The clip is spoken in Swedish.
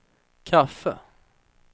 kaffe